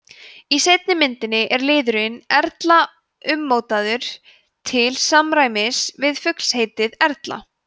í seinni myndinni er liðurinn erla ummótaður til samræmis við fuglsheitið erla